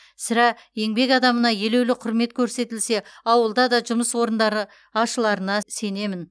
сірә еңбек адамына елеулі құрмет көрсетілсе ауылда да жұмыс орындары ашыларына сенемін